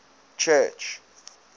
church